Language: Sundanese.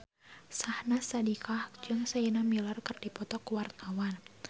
Syahnaz Sadiqah jeung Sienna Miller keur dipoto ku wartawan